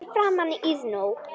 Fyrir framan Iðnó.